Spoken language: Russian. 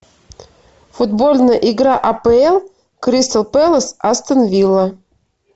футбольная игра апл кристал пэлас астон вилла